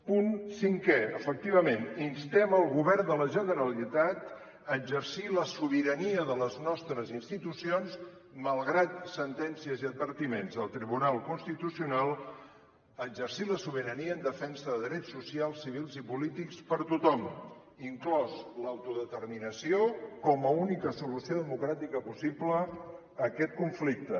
punt cinquè efectivament instem el govern de la generalitat a exercir la sobirania de les nostres institucions malgrat sentències i advertiments del tribunal constitucional a exercir la sobirania en defensa de drets socials civils i polítics per a tothom inclosa l’autodeterminació com a única solució democràtica possible a aquest conflicte